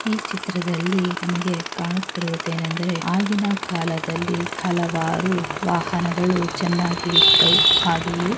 ಈ ಚಿತ್ರದಲ್ಲಿ ನಮಗೆ ಕಾಣುತಿರುವುದೇನೆಂದರೆ ಆಗಿನ ಕಾಲದಲ್ಲಿ ಹಲವಾರು ವಾಹನಗಳು ಚೆನ್ನಾಗಿ ಇದ್ದವು ಹಾಗೆಯೇ--